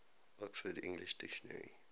oxford english dictionary